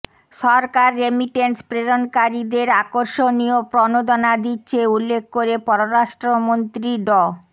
সরকার remittance প্রেরণকারীদের আকর্ষণীয় প্রণোদনা দিচ্ছে উল্লেখ করে পররাষ্ট্রমন্ত্রী ড